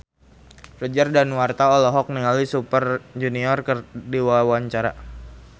Roger Danuarta olohok ningali Super Junior keur diwawancara